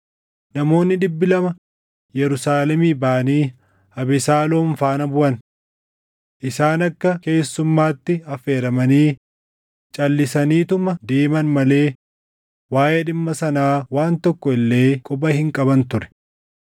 Namoonni dhibbi lama Yerusaalemii baʼanii Abesaaloom faana buʼan. Isaan akka keessummaatti affeeramanii calʼisaniituma deeman malee waaʼee dhimma sanaa waan tokko illee quba hin qaban ture.